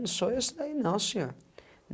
Não sou eu esse daí, não, senhor.